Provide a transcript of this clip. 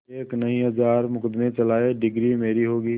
एक नहीं हजार मुकदमें चलाएं डिगरी मेरी होगी